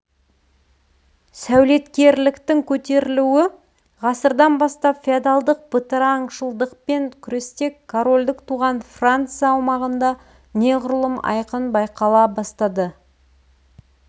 сәулеткерліктің көтерілуі ғасырдан бастап феодалдық бытыраңшылдықпен күресте корольдік туған франция аумағында неғұрлым айқын байқала бастады